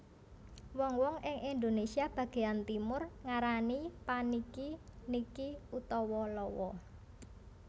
Wong wong ing Indonésia bagéyan Timur ngarani paniki niki utawa lawa